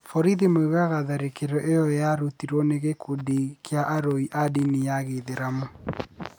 Borithi moigaga tharĩkĩro ĩyo yarutirũo nĩ gĩkundi kĩa aroi a ndini ya gĩithĩramu.